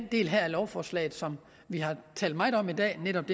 del af lovforslaget som vi har talt meget om i dag netop